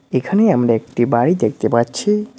এখানে আমরা একটি বাড়ি দেখতে পাচ্ছি।